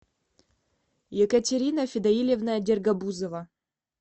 екатерина федоилевна дергобузова